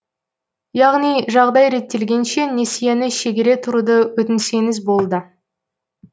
яғни жағдай реттелгенше несиені шегере тұруды өтінсеңіз болды